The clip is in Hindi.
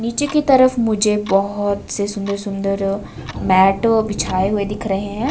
नीचे की तरफ मुझे बहोत से सुंदर सुन्दर मैट बिछाये हुए दिख रहे हैं।